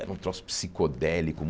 Era um troço psicodélico.